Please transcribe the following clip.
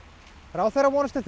ráðherra vonast til